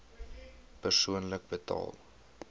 persoonlik betaal